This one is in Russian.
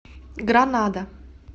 гранада